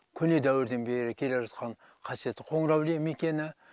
көне дәуірден бері келе жатқан қасиетті қоңыр әулие мекені